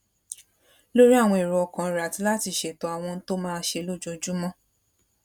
lórí àwọn èrò ọkàn rè àti láti ṣètò àwọn ohun tó máa ṣe lójoojúmó